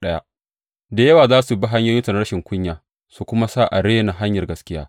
Da yawa za su bi hanyoyinsu na rashin kunya su kuma sa a rena hanyar gaskiya.